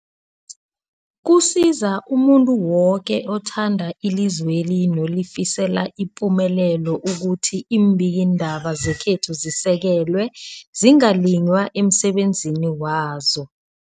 Kusiza umuntu woke othanda ilizweli nolifisela ipumelelo ukuthi iimbikiindaba zekhethu zisekelwe, zingaliywa emsebenzini wazo.